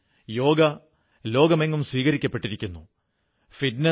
നമ്മുടെ നിത്യജീവിതത്തിലും ഈ കാര്യങ്ങൾ ഐക്യമുണ്ടാക്കുന്ന ശക്തിയായി ലയിച്ചു ചേർന്നിരിക്കുന്നു